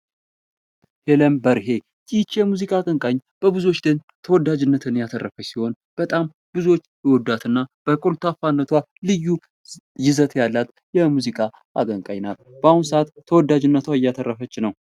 ሄለን በርሄ ይቺ የሙዚቃ አቀንቃኝ በብዙዎች ዘንድ ተወዳጅነት ያተረፈች ሲሆን በጣም ብዙዎች ይወዷትና በኮልታፋነቷ ልዩ ይዘት ያላት የሙዚቃ አቀንቃኝ ናት በአሁኑ ሰአት ተወዳጅነትን እያተረፈች ነው።